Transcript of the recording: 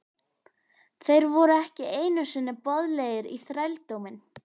Þeir voru ekki einu sinni boðlegir í þrældóminn!